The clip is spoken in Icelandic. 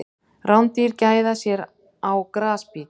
Rándýr gæða sér á grasbít.